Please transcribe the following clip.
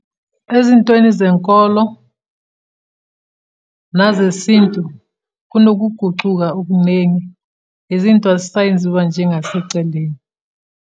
Ezintweni zenkolo, nazesintu, kunokugucuka okunengi. Izinto azisayenziwa njengasekucaleni.